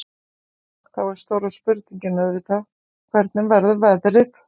En þá er stóra spurningin auðvitað, hvernig verður veðrið?